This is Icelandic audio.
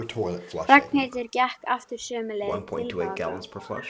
Ragnhildur gekk aftur sömu leið tilbaka.